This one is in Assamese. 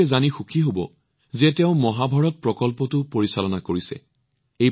তেওঁ মহাভাৰত প্ৰকল্পৰ নিৰ্দেশনা কৰিছে বুলি জানি আপোনালোক অতি আনন্দিত হব